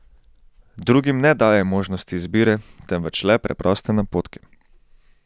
Drugim ne dajaj možnosti izbire, temveč le preproste napotke.